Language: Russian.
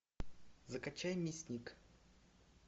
закачай мясник